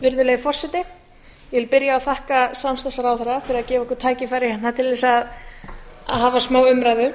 byrja á að þakka samstarfsráðherra fyrir að gefa okkur tækifæri til að hafa smáumræðu